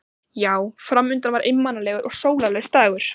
Já, fram undan var einmanalegur og sólarlaus dagur.